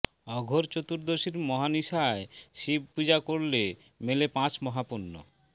অঘোর চতুর্দশীর মহানিশায় শিব পুজো করলে মেলে পাঁচ মহাপুণ্য